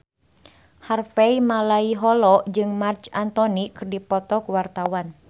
Harvey Malaiholo jeung Marc Anthony keur dipoto ku wartawan